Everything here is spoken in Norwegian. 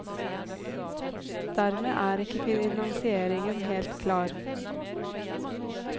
Dermed er ikke finansieringen helt klar.